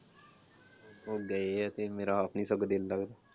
ਉਹ ਗਏ ਆ ਤੇ ਮੇਰਾ ਆਪ ਨੀ ਸਗੋਂ ਦਿਲ ਲਗਦਾ।